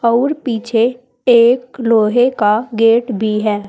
और पीछे एक लोहे का गेट भी है।